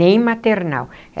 Nem maternal.